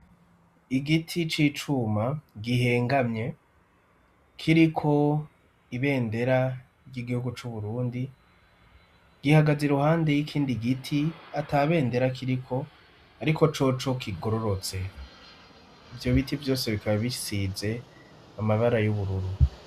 Igiti c'icuma gihengamye kiriko ibendera ry'igihugu c'uburundi gihagaze i ruhande y'ikindi giti ata bendera kiriko, ariko coco kigororotse ivyo biti vyose bikaba bisize amabara y'ubururu.